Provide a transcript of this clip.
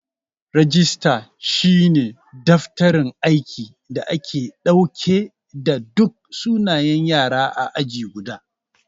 Rajista shi ne daftarin aiki da ke dauke da duk sunayen Yara ã aji guda.